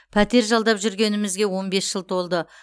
пәтер жалдап жүргенімізге он бес жыл толды